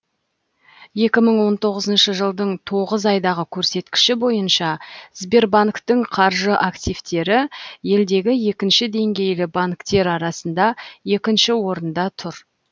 екі мың он тоғызыншы жылдың тоғыз айдағы көрсеткіші бойынша сбербанктің қаржы активтері елдегі екінші деңгейлі банктер арасында екінші орында тұр